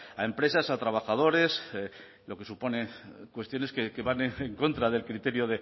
a empresas a trabajadores lo que supone cuestiones que van en contra del criterio